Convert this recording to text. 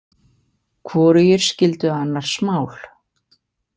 Hvorugir skildu annars mál.